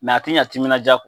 a tɛ ɲɛ timinadiya kɔ